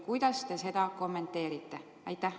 Kuidas te seda kommenteerite?